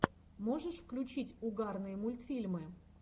можешь включить угарные мультфильмы